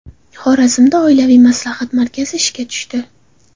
Xorazmda oilaviy maslahat markazi ishga tushdi.